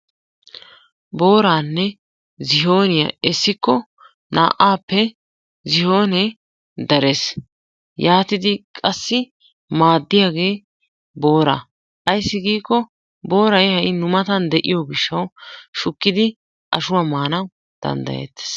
Booraanne zihooniya essikko naa'aappe zihoonee darees. Yaatidi qassi maaddiyagee booraa ayssi giikko booray ha'i nu matan de'iyo gishshawu shukkidi ashuwa maanawu danddayeettees.